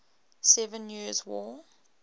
seven years war